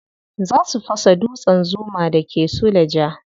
Za su fasa dutsen zuma da ke suleja.